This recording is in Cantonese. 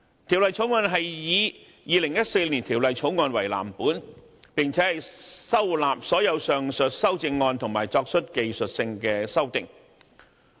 《條例草案》是以2014年《條例草案》為藍本，並且收納所有上述修正案，以及作出技術性修訂。